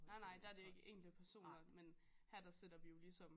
Nej nej der er det jo ikke enkelte personer men her der sætter vi jo ligesom